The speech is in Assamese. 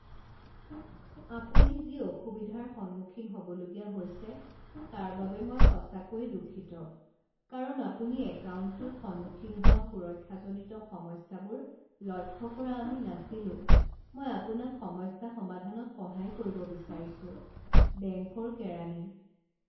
আপুনি যি অসুবিধাৰ সন্মুখীন হ'বলগীয়া হৈছে তাৰ বাবে মই সঁচাকৈয়ে দুঃখিত কাৰণ আপুনি একাউণ্টটোত সন্মুখীন হোৱা সুৰক্ষাজনিত সমস্যাবোৰ লক্ষ্য কৰা আমি নাছিলো। মই আপোনাক সমস্যা সমাধানত সহায় কৰিব বিচাৰিছোঁ। বেঙ্কৰ কেৰাণী